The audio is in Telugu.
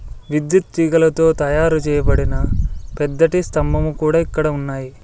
విద్యుత్ తీగలతో తయారు చేయబడిన పెద్దటి స్తంభము కూడా ఇక్కడ ఉన్నాయి.